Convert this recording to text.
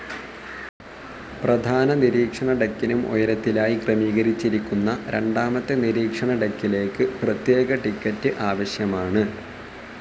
പ്രധാന നിരീക്ഷണ ഡെക്കിനും ഉയരത്തിലായി ക്രമീകരിച്ചിരിക്കുന്ന രണ്ടാമത്തെ നിരീക്ഷണ ഡെക്കിലേക്ക് പ്രത്യേക ടിക്കറ്റ്സ്‌ ആവശ്യമാണ്.